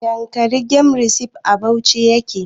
Yankari game reserve' a Bauchi yake